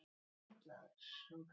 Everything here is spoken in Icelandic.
Af hverju Guð?